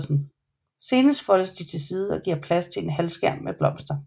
Senere foldes de til side og giver plads til en halvskærm med blomster